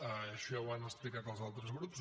això ja ho han explicat els altres grups